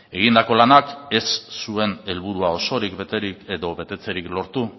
egindako lanak ez zuen helburua osorik beterik edo betetzerik lortu